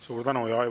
Suur tänu!